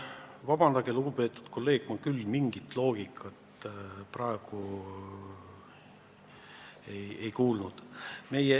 Vabandage, lugupeetud kolleeg, aga ma küll mingit loogikat praegu ei tabanud.